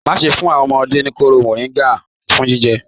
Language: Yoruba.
Má ṣe fún àwọn ọmọdé ní kooro moringa fún jíjẹ.